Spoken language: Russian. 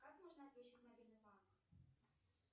как можно отключить мобильный банк